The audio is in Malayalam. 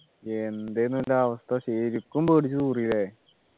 എന്തേനു എൻ്റെ അവസ്ഥ ശരിക്കും പേടിച്ചുതൂറി ല്ലേ